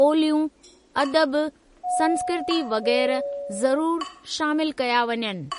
ॿोलियूं, अदब, संस्कृती वग़ैरह ज़रूरु शामिल कया वञनि।